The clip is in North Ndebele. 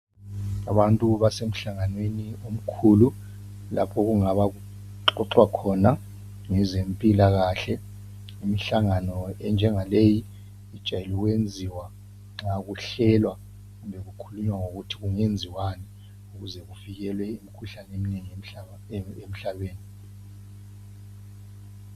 Abantu basemhlanganweni omkhulu. Lapho okungaba kuxoxwa khona ngezempilakahle. Imhlangano enjengaleyi ijwayele ukwenziwa nxa kuhlelwa kumbe kukhulunywa ngokuthi kungenziwani ukuze kuvikelwe imikhuhlane eminengi emhlabeni